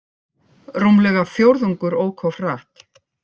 Rúmlega fjórðungur ók of hratt